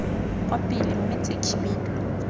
kwa pele mme tse dikhibidu